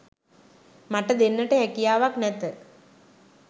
මට දෙන්නට හැකියාවක් නැත